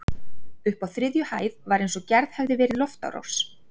Uppi á þriðju hæð var eins og gerð hefði verið loftárás.